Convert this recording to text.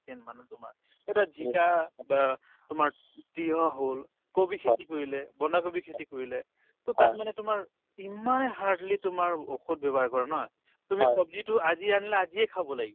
তোমাৰ এতিয়া জিকা বা তোমাৰ তিয়ঁহ হ'ল কবি খেতি কৰিলে বন্ধাকবিৰ খেতি কৰিলে to তাত মানে তোমাৰ ইমানে hardly তোমাৰ ঔষধ ব্যৱহাৰ কৰে নহয় তুমি ছব্জিতো আজিয়ে আনিলা আজিয়ে খাব লাগে